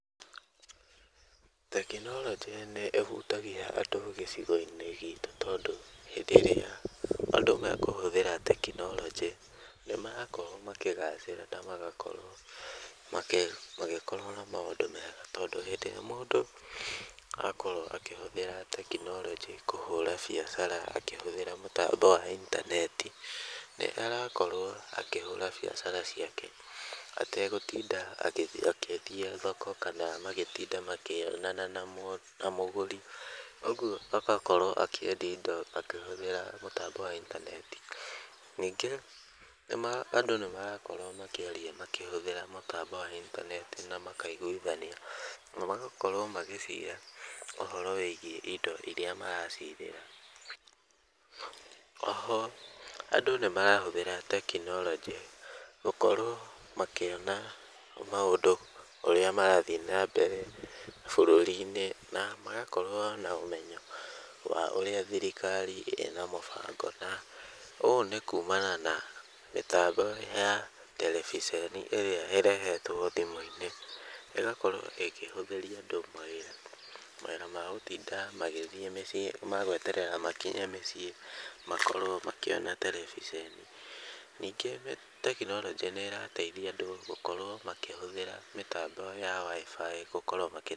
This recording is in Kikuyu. Tekinoronjĩ nĩ ĩhutagia andũ gĩcigo-inĩ gitũ tondũ hĩndĩ ĩrĩa andũ me kũhũthĩra tekinoronjĩ, nĩ marakorwo makĩgacĩra na magakorwo magĩkorwo na maũndũ mega tondũ hĩndĩ ĩrĩa mũndũ akorwo akĩhũthĩra tekinoronjĩ kũhũra biacara akĩhũthĩra mũtambo wa intaneti, nĩ arakorwo akĩhũra biacara ciake ategũtinda agĩthiĩ thoko kana magĩtinda makĩonana na mũgũri, ũguo agakorwo akĩendia indo akĩhũthĩra mũtambo wa intaneti. Ningĩ andũ nĩmarakorwo makĩaria makĩhũthĩra mũtambo wa intaneti na makaiguithania na magakorwo magĩcira ũhoro wĩgiĩ indo iria maracirĩra. Oho andũ nĩ marahũthĩra tekinoronjĩ gũkorwo makĩona maũndũ ũrĩa marathiĩ na mbere bũrũri-inĩ na magakorwo na ũmenyo wa ũrĩa thirikari ĩna mũbango na ũũ nĩ kumana na mĩtambo ya terevĩceni ĩrĩa ĩrehetwo thimũ-inĩ, ĩgakorwo ĩkĩhũthĩria andũ mahinda ma gũtinda magĩthiĩ mĩcii, ma gweterera makinye mĩciĩ makorwo makĩona tereviceni. Ningĩ tekinoronjĩ nĩ ĩrateithia andũ gũkorwo makĩhũthĩra mĩtambo ya waĩbaĩ gũkorwo.